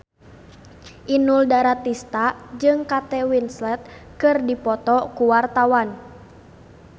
Inul Daratista jeung Kate Winslet keur dipoto ku wartawan